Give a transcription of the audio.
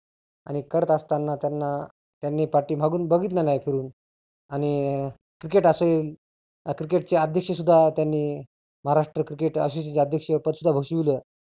आणि करत असताना त्यांना त्यांनी पाठीमागुन बघितलं नाही फिरुन. आणि cricket असेल cricket चे अध्यक्ष सुद्धा त्यांनी महाराष्ट्र cricket associate चे अध्यक्ष पद सुद्धा घोषीवलं.